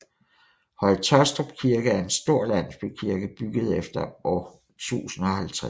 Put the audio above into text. Høje Taastrup Kirke er en stor landsbykirke bygget efter år 1050